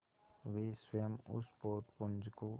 वे स्वयं उस पोतपुंज को